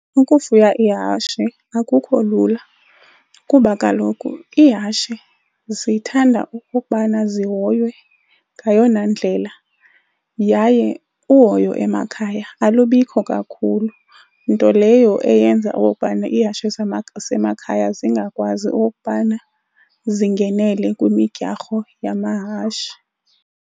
Ukufuya ihashe akukho lula kuba kaloku ihashe zithanda ukokubana zihoywe ngayona ndlela yaye uhoyo emakhaya alubikho kakhulu, nto leyo eyenza okokubana ihashe zasemakhaya zingakwazi ukokubana zingenele kwimidyarho yamahashe.